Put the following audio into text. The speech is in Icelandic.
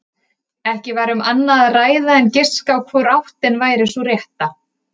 Ekki var um annað að ræða en giska á hvor áttin væri sú rétta.